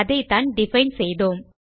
அதைத்தான் டிஃபைன் செய்தோம்